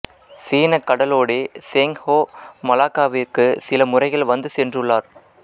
சீனக் கடலோடி Cheng Ho மலாக்காவிற்கு சில முறைகள் வந்து சென்றுள்ளார்